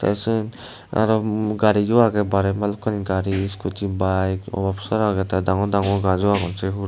tey syot aro gariyo agey barey bhalokkani gari scooty bike obap sara agey tey dangor dangor gajo agon se hurey.